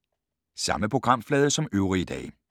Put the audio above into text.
Samme programflade som øvrige dage